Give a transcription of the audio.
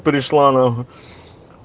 пришла нахуй